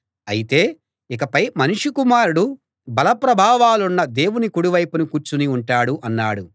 అయితే ఇకపై మనుష్య కుమారుడు బల ప్రభావాలున్న దేవుని కుడి వైపున కూర్చుని ఉంటాడు అన్నాడు